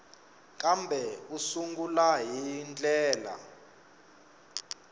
kambe u sungula hi ndlela